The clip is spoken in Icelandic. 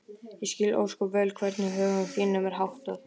Ég skil ósköp vel hvernig högum þínum er háttað.